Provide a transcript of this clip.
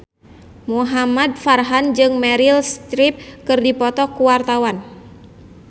Muhamad Farhan jeung Meryl Streep keur dipoto ku wartawan